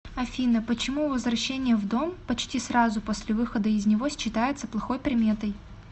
афина почему возвращение в дом почти сразу после выхода из него считается плохой приметой